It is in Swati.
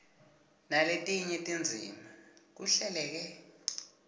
naletinye tindzima kuhleleke